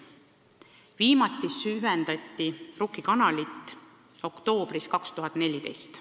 Viimati süvendati Rukki kanalit oktoobris 2014.